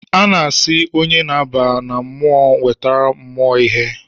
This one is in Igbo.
Ana asị onye na-aba na mmụọ nwetere mumụọ ihe